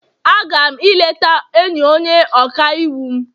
A ga m eleta enyi onye ọka iwu m